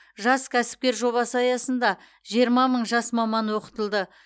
жас кәсіпкер жобасы аясында жиырма мың жас маман оқытылды